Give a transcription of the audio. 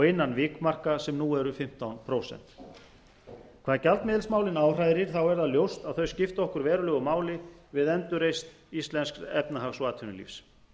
innan vikmarka sem nú eru fimmtán prósent hvað gjaldmiðilsmálin áhrærir er ljóst að þau skipta okkur verulegu máli við endurreisn íslensks efnahags og atvinnulífs